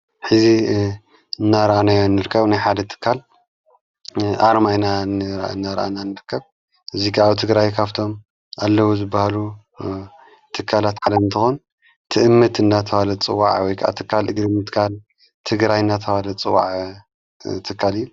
ሕዚ እናርኣናዮ ንርከብ ናይ ሓደ ትካል ኣርማ ኢና እነርአና እንርከብ እዚ ከዓ ትግራይ ካፍቶም ኣለዉ ዝበሃሉ ትካላት ዓለም ትኾን ትእምት እናተብሃለ ዝጽዋዕ ወይ ትካል እግሪ ምትካል ትግራይ እናተበሃለ ዝፅዋዕ ትካል እዩ።